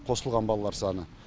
қосылған балалар саны